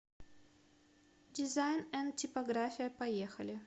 дизайн энд типография поехали